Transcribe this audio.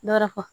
Dɔrakɔ